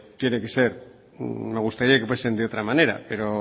tiene que ser me gustaría que fuesen de otra manera pero